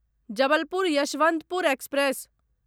Jabalpur Yesvantpur express